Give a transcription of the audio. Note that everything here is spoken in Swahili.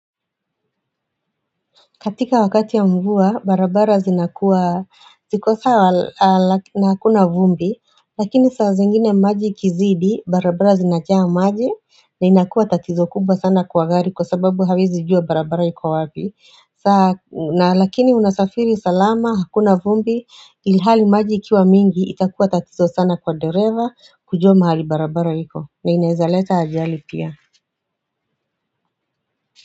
Katika wakati ya mvua, barabara zinakuwa, zikosawa hakuna vumbi, lakini saa zingine maji ikizidi, barabara zinajaa maji, na inakuwa tatizo kubwa sana kwa gari kwa sababu hawezi jua barabara iko wapi. Saa, na lakini unasafiri salama, hakuna vumbi, ilihali maji ikiwa mingi, itakuwa tatizo sana kwa dereva, kujua mahali barabara ilipo, na inawezaleta ajali pia.